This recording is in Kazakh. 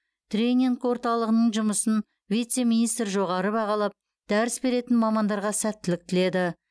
тренинг орталығының жұмысын вице министр жоғары бағалап дәріс беретін мамандарға сәттілік тіледі